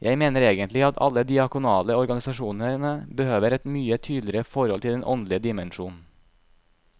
Jeg mener egentlig at alle de diakonale organisasjonene behøver et mye tydeligere forhold til den åndelige dimensjon.